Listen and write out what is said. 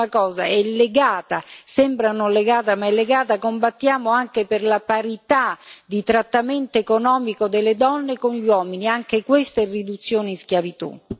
L'ultima cosa è legata sembra non legata, ma è legata combattiamo anche per la parità di trattamento economico delle donne con gli uomini anche questa è riduzione in schiavitù.